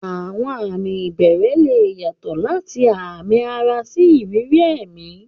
Àwọn àmì ìbẹ̀rẹ̀ lè yàtọ̀ láti àmì ara sí ìrírí ẹ̀mí.